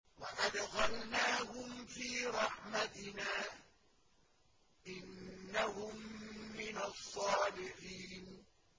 وَأَدْخَلْنَاهُمْ فِي رَحْمَتِنَا ۖ إِنَّهُم مِّنَ الصَّالِحِينَ